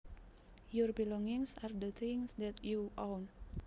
Your belongings are the things that you own